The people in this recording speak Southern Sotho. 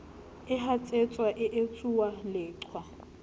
e hatsetswang e etsuwang leqhwa